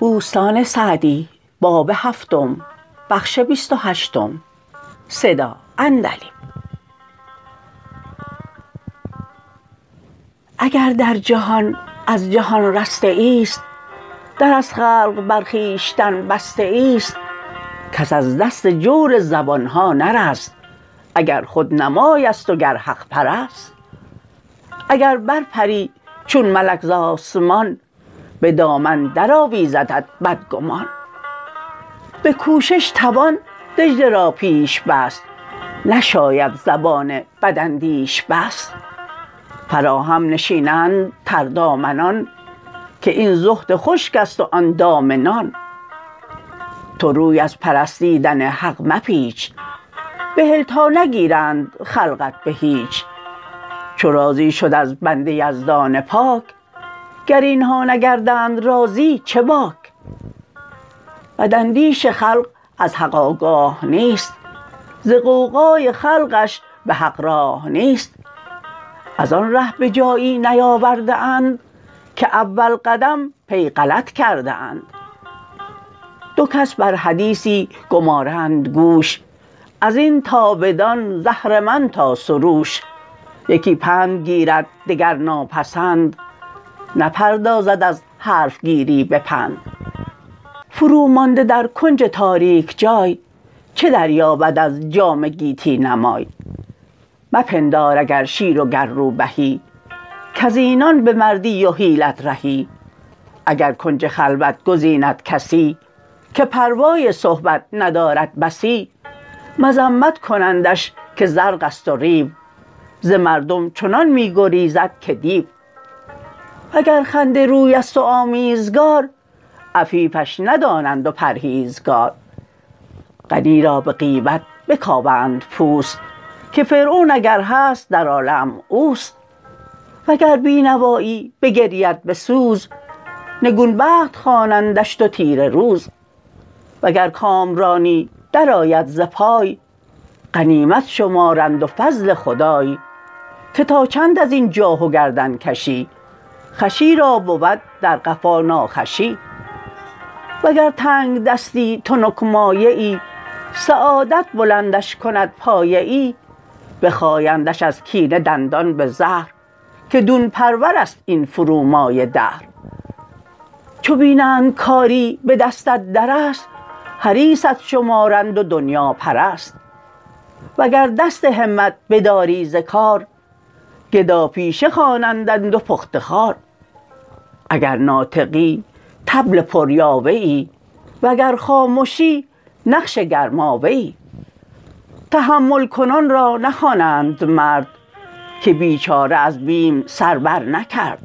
اگر در جهان از جهان رسته ای است در از خلق بر خویشتن بسته ای است کس از دست جور زبانها نرست اگر خودنمای است و گر حق پرست اگر بر پری چون ملک به آسمان ز دامن در آویزدت بدگمان به کوشش توان دجله را پیش بست نشاید زبان بداندیش بست فراهم نشینند تردامنان که این زهد خشک است و آن دام نان تو روی از پرستیدن حق مپیچ بهل تا نگیرند خلقت به هیچ چو راضی شد از بنده یزدان پاک گر اینها نگردند راضی چه باک بد اندیش خلق از حق آگاه نیست ز غوغای خلقش به حق راه نیست از آن ره به جایی نیاورده اند که اول قدم پی غلط کرده اند دو کس بر حدیثی گمارند گوش از این تا بدان ز اهرمن تا سروش یکی پند گیرد دگر ناپسند نپردازد از حرفگیری به پند فرو مانده در کنج تاریک جای چه دریابد از جام گیتی نمای مپندار اگر شیر و گر روبهی کز اینان به مردی و حیلت رهی اگر کنج خلوت گزیند کسی که پروای صحبت ندارد بسی مذمت کنندش که زرق است و ریو ز مردم چنان می گریزد که دیو وگر خنده روی است و آمیزگار عفیفش ندانند و پرهیزگار غنی را به غیبت بکاوند پوست که فرعون اگر هست در عالم اوست وگر بینوایی بگرید به سوز نگون بخت خوانندش و تیره روز وگر کامرانی در آید ز پای غنیمت شمارند و فضل خدای که تا چند از این جاه و گردن کشی خوشی را بود در قفا ناخوشی و گر تنگدستی تنک مایه ای سعادت بلندش کند پایه ای بخایندش از کینه دندان به زهر که دون پرور است این فرومایه دهر چو بینند کاری به دستت در است حریصت شمارند و دنیاپرست وگر دست همت بداری ز کار گدا پیشه خوانندت و پخته خوار اگر ناطقی طبل پر یاوه ای وگر خامشی نقش گرماوه ای تحمل کنان را نخوانند مرد که بیچاره از بیم سر برنکرد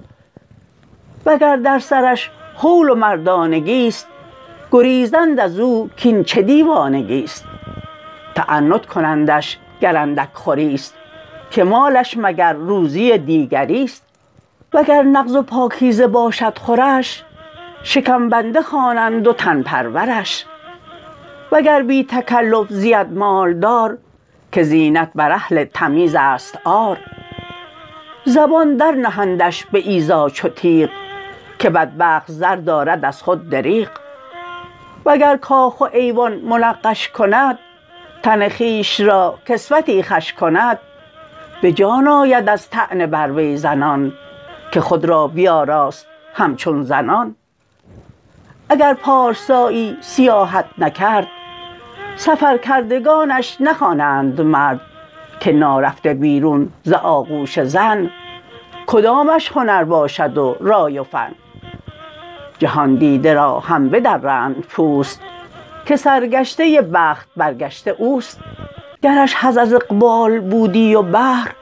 وگر در سرش هول و مردانگی است گریزند از او کاین چه دیوانگی است تعنت کنندش گر اندک خوری است که مالش مگر روزی دیگری است وگر نغز و پاکیزه باشد خورش شکم بنده خوانند و تن پرورش وگر بی تکلف زید مالدار که زینت بر اهل تمیز است عار زبان در نهندش به ایذا چو تیغ که بدبخت زر دارد از خود دریغ و گر کاخ و ایوان منقش کند تن خویش را کسوتی خوش کند به جان آید از طعنه بر وی زنان که خود را بیاراست همچون زنان اگر پارسایی سیاحت نکرد سفر کردگانش نخوانند مرد که نارفته بیرون ز آغوش زن کدامش هنر باشد و رای و فن جهاندیده را هم بدرند پوست که سرگشته بخت برگشته اوست گرش حظ از اقبال بودی و بهر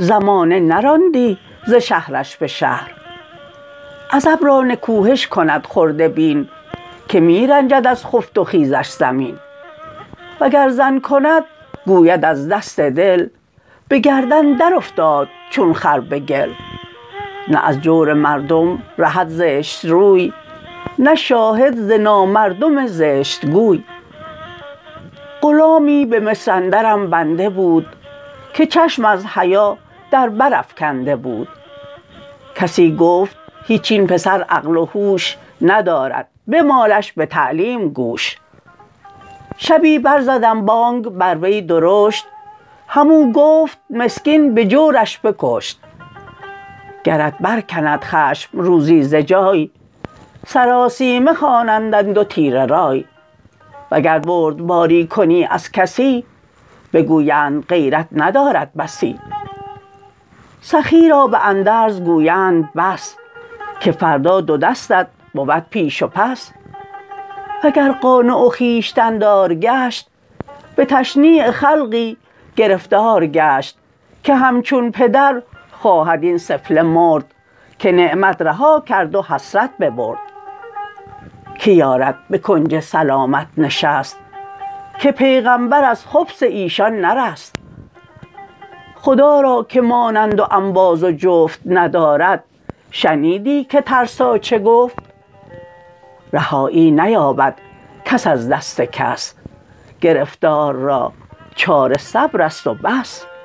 زمانه نراندی ز شهرش به شهر عزب را نکوهش کند خرده بین که می رنجد از خفت و خیزش زمین وگر زن کند گوید از دست دل به گردن در افتاد چون خر به گل نه از جور مردم رهد زشت روی نه شاهد ز نامردم زشت گوی غلامی به مصر اندرم بنده بود که چشم از حیا در بر افکنده بود کسی گفت هیچ این پسر عقل و هوش ندارد بمالش به تعلیم گوش شبی بر زدم بانگ بر وی درشت هم او گفت مسکین به جورش بکشت گرت برکند خشم روزی ز جای سراسیمه خوانندت و تیره رای وگر بردباری کنی از کسی بگویند غیرت ندارد بسی سخی را به اندرز گویند بس که فردا دو دستت بود پیش و پس وگر قانع و خویشتن دار گشت به تشنیع خلقی گرفتار گشت که همچون پدر خواهد این سفله مرد که نعمت رها کرد و حسرت ببرد که یارد به کنج سلامت نشست که پیغمبر از خبث ایشان نرست خدا را که مانند و انباز و جفت ندارد شنیدی که ترسا چه گفت رهایی نیابد کس از دست کس گرفتار را چاره صبر است و بس